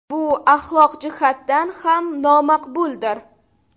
Bu axloq jihatdan ham nomaqbuldir.